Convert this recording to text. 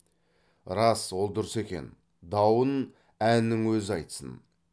рас ол дұрыс екен дауын әннің өзі айтсын